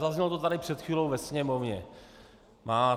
Zaznělo to tady před chvílí ve sněmovně.